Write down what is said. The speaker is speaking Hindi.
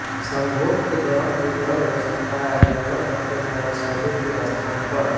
संभोग के दौरान भी दर्द हो सकता है निर्भर करते हैं रसौली के स्थान पर